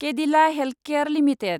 Cadila healthcare limited